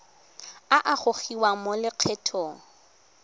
a a gogiwang mo lokgethong